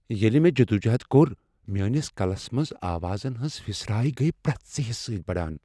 ییلہِ مے٘ جدوجہد كۄر ، میٲنِس كلس منز آوازن ہنز پھِسراریہ گیہ پر٘یتھ ژِہِس سٕتہِ بڈان ۔